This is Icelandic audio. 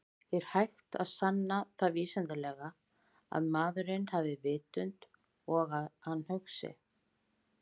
Er hægt að sanna það vísindalega að maðurinn hafi vitund og að hann hugsi?